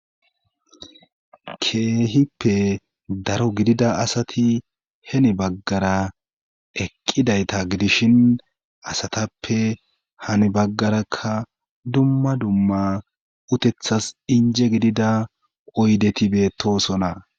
Keehippe daro gidida asati heni baggara eqqidayta gidishin asatappe hani baggarakka dumma dumma utethas inje gidida oydetibeetoosona.